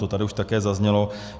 To tady už také zaznělo.